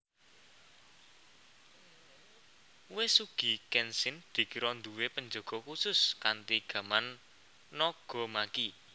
Uesugi Kenshin dikira nduwe penjaga khusus kanthi gaman nagamaki